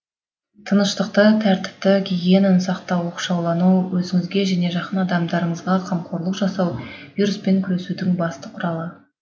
тыныштықты тәртіпті гигиенаны сақтау оқшаулану өзіңізге және жақын адамдарыңызға қамқорлық жасау вируспен күресудің басты құралы